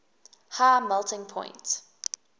high melting point